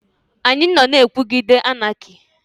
Anyị nọ na-ekwuguide Anaki.